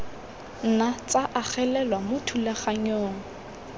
nna tsa agelelwa mo thulaganyong